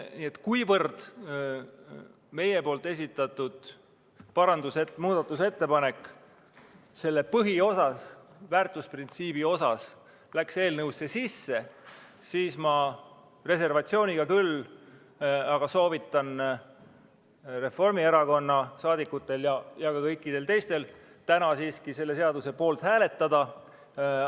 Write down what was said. Nii et kuivõrd meie esitatud muudatusettepanek selle põhiosas, väärtusprintsiibi osas läks eelnõusse sisse, siis ma soovitan – reservatsiooniga küll – Reformierakonna liikmetel ja ka kõikidel teistel täna siiski selle seaduseelnõu poolt hääletada.